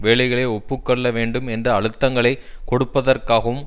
வேலைகளை ஒப்பு கொள்ள வேண்டும் என்று அழுத்தங்களை கொடுப்பதற்காகவும்